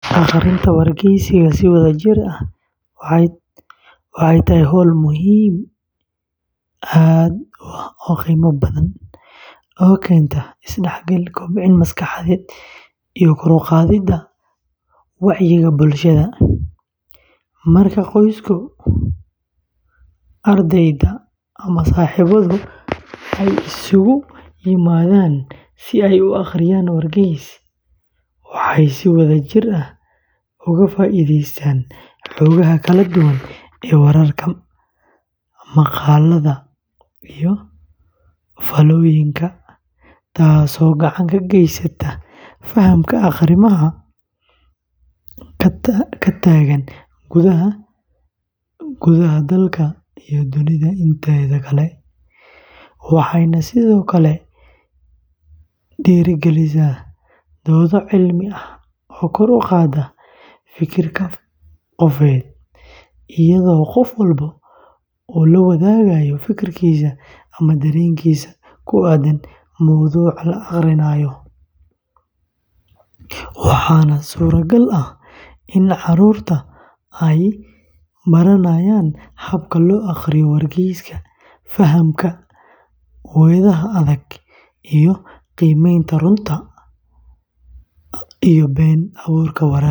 Akhrinta wargeysyada si wadajir ah waxay tahay hawl aad u qiimo badan oo keenta is-dhexgal, kobcin maskaxeed, iyo kor u qaadidda wacyiga bulshada; marka qoysaska, ardayda, ama saaxiibadu ay isugu yimaadaan si ay u akhriyaan wargeys, waxay si wadajir ah uga faa'iideystaan xogaha kala duwan ee wararka, maqaallada, iyo faallooyinka, taasoo gacan ka geysata fahamka arrimaha ka taagan gudaha dalka iyo dunida inteeda kale, waxayna sidoo kale dhiirrigelisaa doodo cilmi ah oo kor u qaada fekerka qofeed, iyadoo qof walba uu la wadaagayo fikirkiisa ama dareenkiisa ku aaddan mowduuca la akhrinayo, waxaana suuragal ah in carruurta ay baranayaan habka loo akhriyo wargeyska, fahamka weedhaha adag, iyo qiimeynta runta iyo been abuurka wararka.